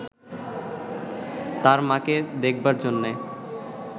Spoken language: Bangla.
তার মাকে দেখাবার জন্যে